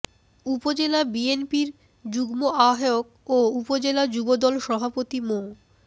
উপজেলা বিএনপির যুগ্ম আহ্বায়ক ও উপজেলা যুবদল সভাপতি মো